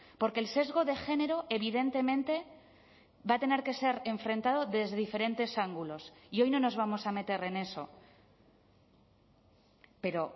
porque el sesgo de género evidentemente va a tener que ser enfrentado desde diferentes ángulos y hoy no nos vamos a meter en eso pero